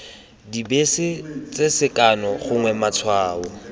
dibese tse sekano gongwe matshwao